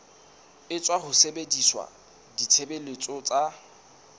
etswa ho sebedisa ditshebeletso tsa